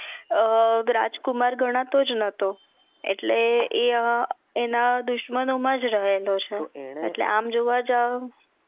અમ રાજકુમાર ગણાતોજ નતો એટલે અ એ એના દુશ્મનો માજ રહલો છે આમ જોવા જાવ